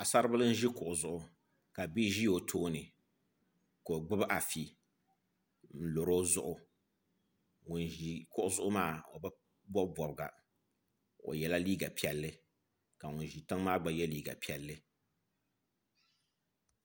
Paɣasaribili n ʒi kuɣu zuɣu ka bia ʒi o tooni ka o gbubi afi n lori o zuɣu ŋun ʒi kuɣu zuɣu maa o bi bob bobga o yɛla liiga piɛlli la ŋun ʒi tiŋ maa gba yɛ liiga piɛlli